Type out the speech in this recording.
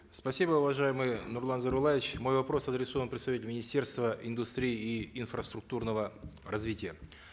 спасибо уважаемый нурлан зайроллаевич мой вопрос адресован представителю министерства индустрии и инфраструктурного развития